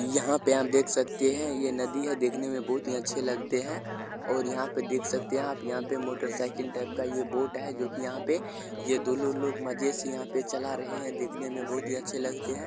यहाँ पे हम देख सकते हैं ये नदी हैं देखने मे बोहोत ही अच्छे लगते हैं और यहाँ पे देख सकते है आप यहाँ पे मोटरसाइकिल टाइप का ये बोट हैं जो कि यहाँ पे ये दोनों लोग मजे से यहां पे चला रहे हैं देखने मे बोहोत ही अच्छे लगते हैं।